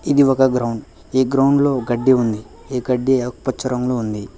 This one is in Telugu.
ఇది ఒక గ్రౌండ్ ఈ గ్రౌండ్ లో గడ్డి ఉంది ఈ గడ్డి ఆకుపచ్చారంగులో ఉంది.